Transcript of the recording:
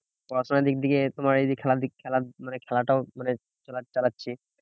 পড়াশোনার দিক থেকে তোমার এই যে খেলার দিক, খেলা মানে খেলাটাও মানে চালা~ চালাচ্ছি।